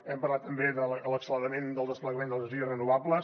hem parlat també de l’acceleració del desplegament d’energies renovables